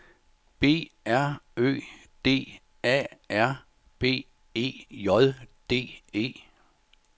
B R Ø D A R B E J D E